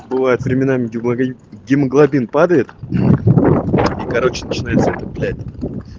бывает временами гемогаи гемоглобин падает и короче начинается это блять